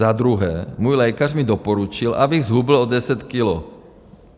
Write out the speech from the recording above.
Za druhé, můj lékař mi doporučil, abych zhubl o 10 kilo.